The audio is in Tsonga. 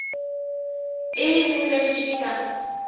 i yini lexi xi nga